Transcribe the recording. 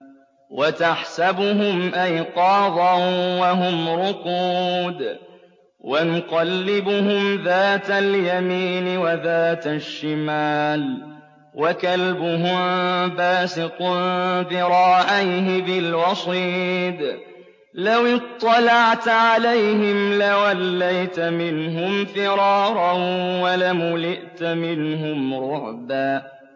وَتَحْسَبُهُمْ أَيْقَاظًا وَهُمْ رُقُودٌ ۚ وَنُقَلِّبُهُمْ ذَاتَ الْيَمِينِ وَذَاتَ الشِّمَالِ ۖ وَكَلْبُهُم بَاسِطٌ ذِرَاعَيْهِ بِالْوَصِيدِ ۚ لَوِ اطَّلَعْتَ عَلَيْهِمْ لَوَلَّيْتَ مِنْهُمْ فِرَارًا وَلَمُلِئْتَ مِنْهُمْ رُعْبًا